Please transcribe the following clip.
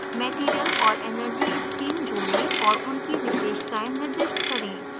material और energy stream जोड़ें और उनकी विशेषताएं निर्दिष्ट करें